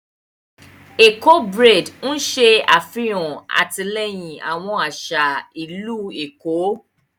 Éko braid n ṣe afihan atilẹyin awón aṣa ilu Eko.